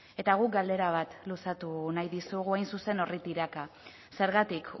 eta guk galdera bat luzatu nahi dizugu hain zuzen horri tiraka zergatik